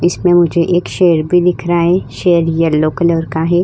इसमें मुझे एक शेर भी दिख रहा है। शेर येलो कलर का है।